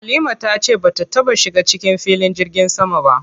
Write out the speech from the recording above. Halima ta ce bata taɓa shiga cikin filin jirgin sama ba.